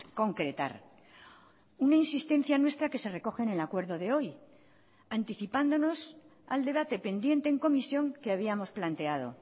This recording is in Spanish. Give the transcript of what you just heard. concretar una insistencia nuestra que se recoge en el acuerdo de hoy anticipándonos al debate pendiente en comisión que habíamos planteado